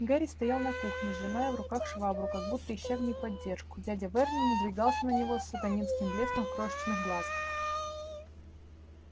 гарри стоял на кухне сжимая в руках швабру как будто ища в ней поддержку дядя вернон надвигался на него с сатанинским блеском в крошечных глазках